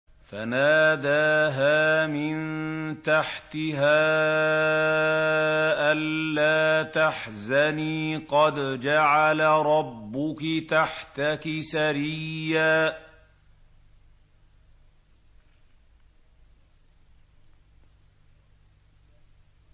فَنَادَاهَا مِن تَحْتِهَا أَلَّا تَحْزَنِي قَدْ جَعَلَ رَبُّكِ تَحْتَكِ سَرِيًّا